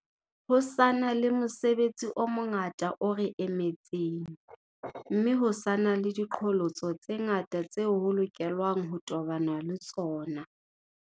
Ho sa na le mosebetsi o mongata o re emetseng, mme ho sa na le diqholotso tse ngata tseo ho lokelwang ho tobanwa le tsona.